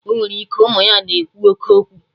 Ọnwere ike, ụmụ ya na-ekwu oké okwu